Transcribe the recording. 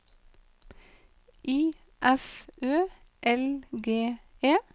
I F Ø L G E